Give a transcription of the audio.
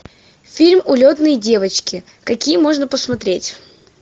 фильм улетные девочки какие можно посмотреть